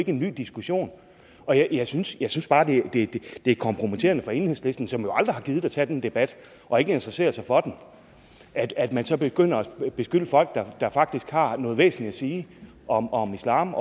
en ny diskussion jeg synes jeg synes bare det det er kompromitterende for enhedslisten som jo aldrig har gidet at tage den debat og ikke interesserer sig for den at man så begynder at beskylde folk der faktisk har noget væsentligt at sige om om islam